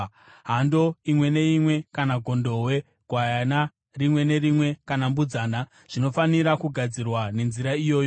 Hando imwe neimwe kana gondobwe, gwayana rimwe nerimwe kana mbudzana, zvinofanira kugadzirwa nenzira iyoyi.